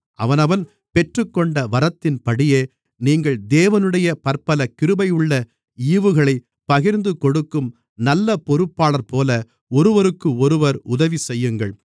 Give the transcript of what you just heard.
அவனவன் பெற்றுக்கொண்ட வரத்தின்படியே நீங்கள் தேவனுடைய பற்பல கிருபையுள்ள ஈவுகளைப் பகிர்ந்துகொடுக்கும் நல்ல பொறுப்பாளர்போல ஒருவருக்கொருவர் உதவிசெய்யுங்கள்